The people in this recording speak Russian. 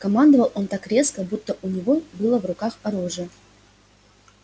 командовал он так резко будто у него было в руках оружие